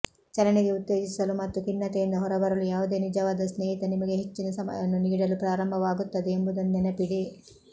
ಚಲನೆಗೆ ಉತ್ತೇಜಿಸಲು ಮತ್ತು ಖಿನ್ನತೆಯಿಂದ ಹೊರಬರಲು ಯಾವುದೇ ನಿಜವಾದ ಸ್ನೇಹಿತ ನಿಮಗೆ ಹೆಚ್ಚಿನ ಸಮಯವನ್ನು ನೀಡಲು ಪ್ರಾರಂಭವಾಗುತ್ತದೆ ಎಂಬುದನ್ನು ನೆನಪಿಡಿ